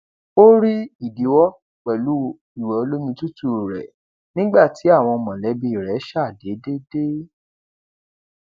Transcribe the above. ó rí ìdíwọ pẹlú ìwẹ olómi tútù rẹ nígbà tí àwọn mọlẹbí rẹ ṣàdédé dé